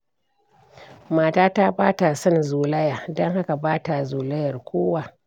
Matata ba ta son zolaya, don haka ba ta zolayar kowa.